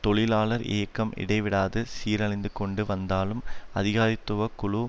தொழிலாளர் இயக்கம் இடைவிடாத சீரழிந்துகொண்டு வந்தாலும் அதிகாரத்துவ குழு